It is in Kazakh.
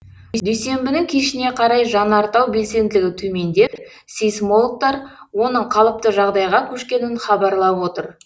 дүйсенбінің кешіне қарай жанартау белсенділігі төмендеп сейсмологтар оның қалыпты жағдайға көшкенін хабарлап отыр